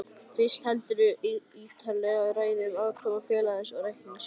Fyrst heldurðu ítarlega ræðu um afkomu félagsins og reikningsskil.